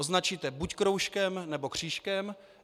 Označíte buď kroužkem nebo křížkem.